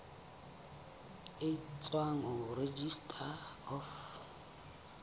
e tswang ho registrar of